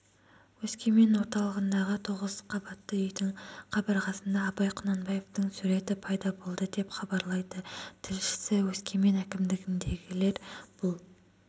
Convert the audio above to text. өскемен орталығындағы тоғызқабатты үйдің қабырғасында абай құнанбаевтың суреті пайда болды деп хабарлайды тілшісі өскемен әкімдігіндегілер бұл